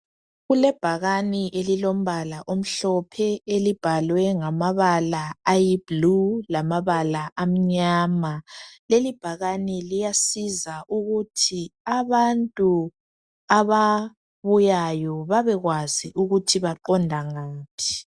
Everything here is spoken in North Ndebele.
Kulebhakane elilombala omhlophe elibhalwe ngamabala ayi " blue" lamabala amnyama leli bhakane liyasiza ukuthi abantu ababuyayo babekwazi ukuthi baqonda ngaphi .